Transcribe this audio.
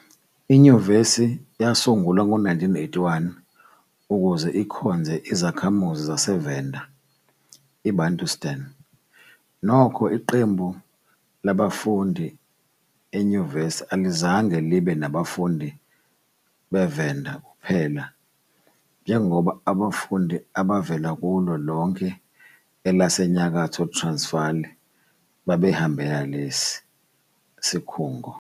Inyuvesi yasungulwa ngo-1981 ukuze ikhonze izakhamuzi zaseVenda IBantustan, nokho, iqembu labafundi e-Univen alizange libe nabafundi be-Venda kuphela njengoba abafundi abavela kulo lonke elaseNyakatho Transvaal babehambele lesi sikhungo.